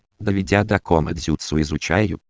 доведя до к нотариусу изучать